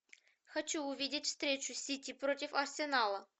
хочу увидеть встречу сити против арсенала